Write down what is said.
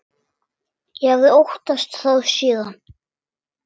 Ég hafði óttast þá síðan.